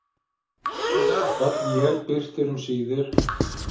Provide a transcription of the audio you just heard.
Öll él birtir um síðir.